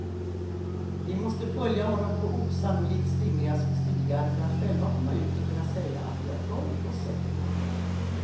Vi måste följa honom på osannolikt slingriga små stigar för att själva komma ut och kunna säga att vi har hört och sett något.